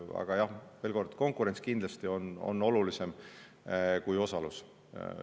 Aga jah, veel kord, konkurents on kindlasti olulisem kui osalus.